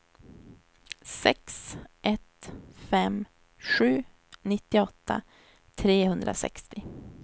sex ett fem sju nittioåtta trehundrasextio